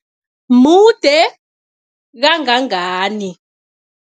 Mude kangangani?